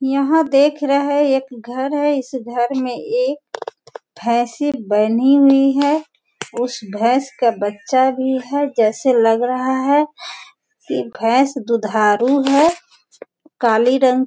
यहां देख रहे हैं एक घर है इस घर में एक भेस बंधी हुई है उस भैंस का बच्चा भी है जैसे लग रहा है की भैंस दुधारू है काली रंग --